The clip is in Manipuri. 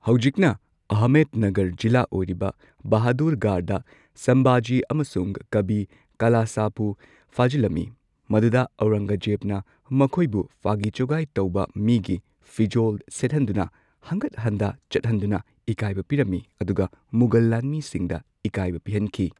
ꯍꯧꯖꯤꯛꯅ ꯑꯍꯃꯦꯗꯅꯥꯒꯔ ꯖꯤꯂꯥ ꯑꯣꯏꯔꯤꯕ ꯕꯍꯥꯗꯨꯔꯒꯔꯗ ꯁꯝꯚꯥꯖꯤ ꯑꯃꯁꯨꯡ ꯀꯥꯚꯤ ꯀꯥꯂꯁꯄꯨ ꯐꯥꯖꯤꯜꯂꯝꯃꯤ, ꯃꯗꯨꯗ ꯑꯧꯔꯪꯒꯖꯦꯕꯅ ꯃꯈꯣꯢꯕꯨ ꯖꯨꯒꯥꯢ ꯇꯧꯕ ꯃꯤꯒꯤ ꯐꯤꯖꯣꯜ ꯁꯦꯠꯍꯟꯗꯨꯅ ꯍꯟꯒꯠ ꯍꯟꯗꯥ ꯆꯠꯍꯟꯗꯨꯅ ꯏꯀꯥꯏꯕ ꯄꯤꯔꯝꯃꯤ ꯑꯗꯨꯒ ꯃꯨꯘꯜ ꯂꯥꯟꯃꯤꯁꯤꯡꯗ ꯏꯀꯥꯏꯕ ꯄꯤꯍꯟꯈꯤ꯫